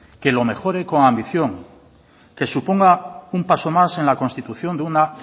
que lo mejore con ambición que suponga un paso más en la constitución de una